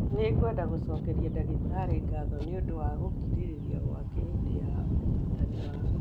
Nĩ ngwenda gũcokeria ndagĩtarĩ ngatho nĩ ũndũ wa gũkirĩrĩria gwake hĩndĩ ya ũrigitani wakwa